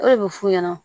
O de bɛ f'u ɲɛna